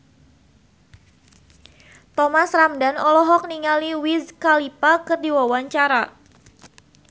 Thomas Ramdhan olohok ningali Wiz Khalifa keur diwawancara